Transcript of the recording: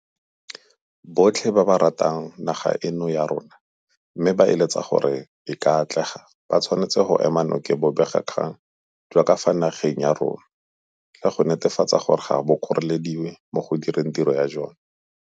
Botlhe ba ba ratang naga eno ya rona mme ba eletsa gore e ka atlega ba tshwanetse go ema nokeng bobegakgang jwa ka fa nageng ya rona, le go netefatsa gore ga bo kgorelediwe mo go direng tiro ya jona.